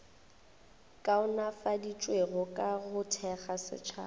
kaonafaditšwego ka go thekga setšhaba